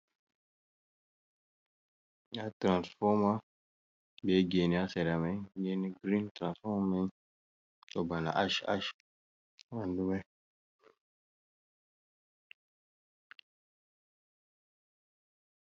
Ndaa tirasfooma be geene, haa sera may geene girin, tirasfooma may ɗo bana aac aac, haa ɓaandu may.